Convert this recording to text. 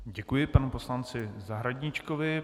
Děkuji panu poslanci Zahradníčkovi.